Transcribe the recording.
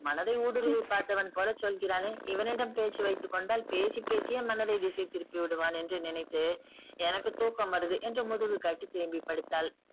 மனதை ஊடுருவி பார்த்தவன் போல சொல்கிறானே இவனிடம் பேச்சு வைத்துக்கொண்டால் பேசி பேசியே மனதை திசை திருப்பிவிடுவான் என்று நினைத்து எனக்கு தூக்கம் வருது என்று முதுகு காட்டி திரும்பி படுத்தால்